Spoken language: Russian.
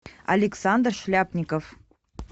александр шляпников